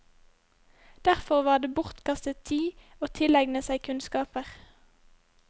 Derfor var det bortkastet tid å tilegne seg kunnskaper.